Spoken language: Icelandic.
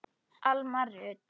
Alma Rut.